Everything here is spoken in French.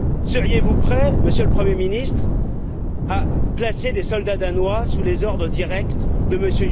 Seriez vous prêt, Monsieur le Premier ministre, à placer des soldats danois sous les ordres directs de